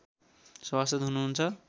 सभासद् हुनुहुन्छ